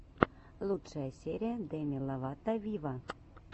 лучшая серия деми ловато виво